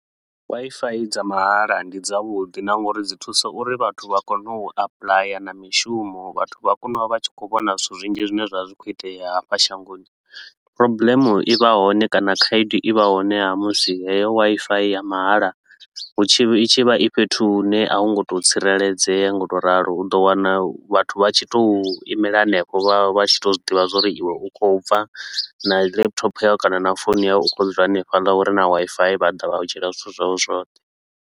Wifi dza mahala ndi dzavhudi na nga uri dzi thuso uri vhathu vha kone u applyer na mishumo, vhathu vha kone u vha vha tshi khou vhona zwithu zwinzhi zwine zwa vha zwi khou itea hafha shangoni. Problem i vha hone kana khaedu i vha hone ha musi heyo Wi-Fi ya mahala hu tshi i tshi vha i fhethu hune a hu ngo tou tsireledzea nga u tou ralo, u ḓo wana vhathu vha tshi tou imela henefho vha vha vha tshi tou zwi ḓivha zwa uri iwe u khou bva na laptop yau kana na founu yau u khou ya u dzula hanefhaḽa hure na Wi-Fi vha ḓa vha u dzhiela zwithu zwau zwoṱhe.